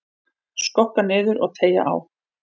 Skokka niður og teygja á.